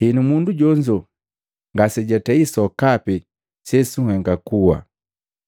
Henu mundu jonzo ngase jatei sokapi sesunhenga kuwa.